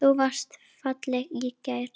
Þú varst falleg í gær.